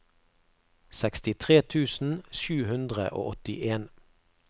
sekstitre tusen sju hundre og åttien